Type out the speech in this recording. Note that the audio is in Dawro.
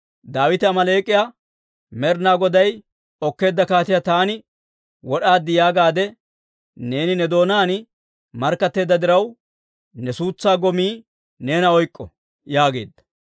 Daawite Amaaleek'iyaa, «Med'inaa Goday okkeedda kaatiyaa taani wod'aad yaagaade neeni ne doonaan markkatteedda diraw, ne suutsaa gomii neena oyk'k'o» yaageedda.